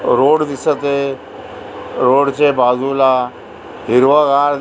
road दिसतय रोडचे बाजुला हिरवगार --